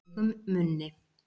Feigum munni